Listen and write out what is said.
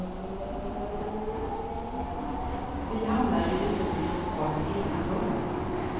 Vi hamnade vid ett bord i lokalens ena hörn.